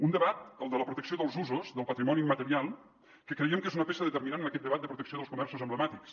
un debat el de la protecció dels usos del patrimoni immaterial que creiem que és una peça determinant en aquest debat de protecció dels comerços emblemàtics